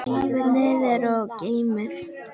Rífið niður og geymið.